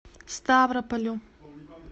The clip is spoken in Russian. ставрополю